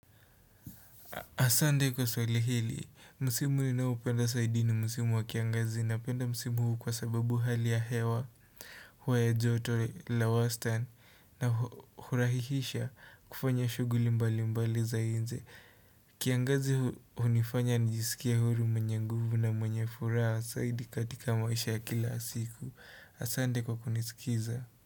Asande kwa swali hili, musimu ninaopenda saidi ni musimu wa kiangazi napenda musimu huu kwa sababu hali ya hewa hua ya joto la wastani na hurahihisha kufanya shuguli mbali mbali za inje. Kiangazi huu unifanya nijisikie huru mweny nguvu na mwenye furaha saidi katika maisha ya kila asiku. Asande kwa kunisikiza.